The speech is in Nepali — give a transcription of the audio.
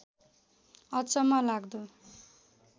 अचम्म लाग्दो